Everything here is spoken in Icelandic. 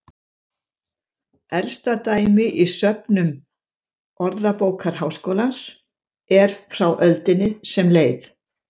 Elsta dæmi í söfnum Orðabókar Háskólans er frá öldinni sem leið.